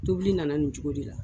Tobili nana nin cogo de la